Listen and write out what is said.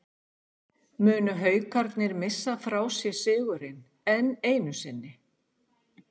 Munu Haukarnir missa frá sér sigurinn, enn einu sinni???